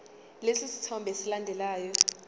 lesi sithombe esilandelayo